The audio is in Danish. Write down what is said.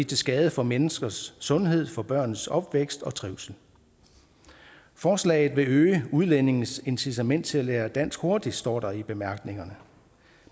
til skade for menneskers sundhed for børns opvækst og trivsel forslaget vil øge udlændinges incitament til at lære dansk hurtigt står der i bemærkningerne